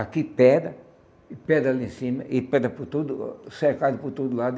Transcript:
Aqui pedra, e pedra lá em cima e pedra por todo o, cercado por todo lado.